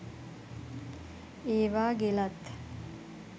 ඒවා ගෙලත්